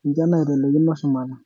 ninche naitelekino shumata.